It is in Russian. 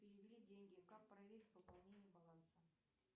перевели деньги как проверить пополнение баланса